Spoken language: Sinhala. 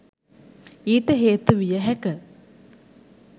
ඊට හේතු විය හැක